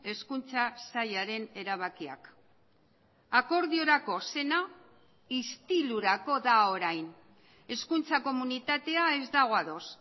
hezkuntza sailaren erabakiak akordiorako zena istilurako da orain hezkuntza komunitatea ez dago ados